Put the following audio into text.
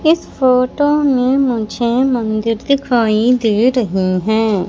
इस फोटो में मुझे मंदिर दिखाई दे रही हैं।